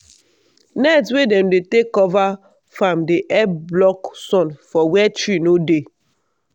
net wey dem dey take cover farm dey help block sun for where tree no dey.